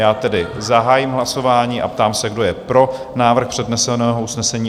Já tedy zahájím hlasování a ptám se, kdo je pro návrh předneseného usnesení?